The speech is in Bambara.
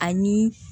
Ani